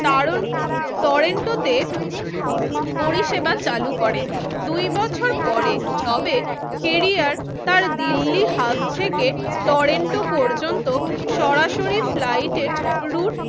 দারুন টরেন্টোতে পরিসেবা চালু করে দুই বছর পরে তবে কোরিয়ার তার দিল্লী হাব থেকে টরেন্টো ও পর্যন্ত সরাসরি ফ্লাইট এর রুট